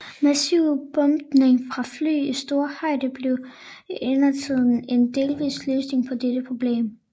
Massiv bombning fra fly i stor højde blev imidlertid en delvis løsning på dette problem